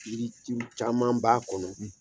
caman ba kɔnɔ.